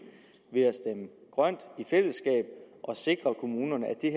ved at stemme grønt i fællesskab og sikre kommunerne at det